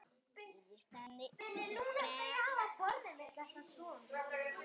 Þriðji sendi stutt bréf